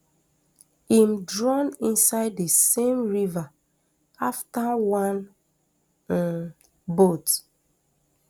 im drown inside di same river afta one um boat